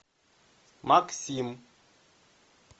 максим